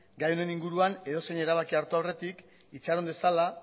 gai honen inguruan edozein erabaki hartu aurretik itxaron dezala